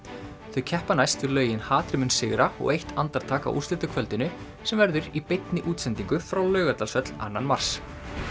þau keppa næst við lögin hatrið mun sigra og eitt andartak á úrslitakvöldinu sem verður í beinni útsendingu frá Laugardalshöll annan mars